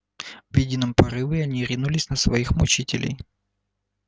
в едином порыве они ринулись на своих мучителей